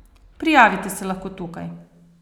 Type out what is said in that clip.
Prijavite se lahko tukaj!